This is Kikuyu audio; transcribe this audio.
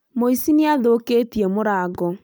Mũici nĩ athũkĩtie mũrango